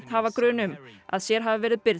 hafa grun um að sér hafi verið